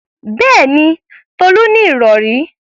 Bẹ́ẹ̀mi, Tolú ní ìrọ̀rí.